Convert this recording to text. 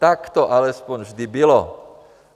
Tak to alespoň vždy bylo.